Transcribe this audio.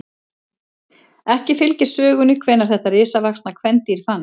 Ekki fylgir sögunni hvenær þetta risavaxna kvendýr fannst.